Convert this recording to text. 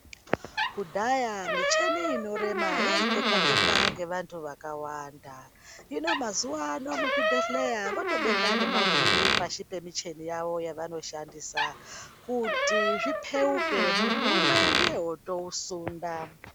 Kudhaya micheni inorema yaitekwa tekwa ngevantu vakawanda, hino mazuwa ano muzvibhedhleya votobeka nemavhiri pashi pemicheni yavo yavanoshandisa kuti zvipeuke muntu umwe ndiye otousunda.